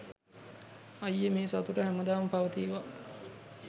අයියෙ මේ සතුට හැමදාම පවතීවා